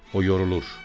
O yorulur.